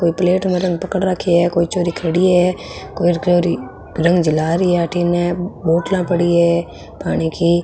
कोई प्लेट में रंग पकड़ राखी है कोई छोरी खड़ी है कोई छोरी रंग है बोतला पड़ी है पाणी की।